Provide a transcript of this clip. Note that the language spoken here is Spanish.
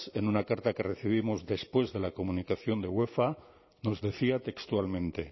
en una carta que recibimos después de la comunicación de uefa nos decía textualmente